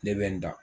Ne bɛ n da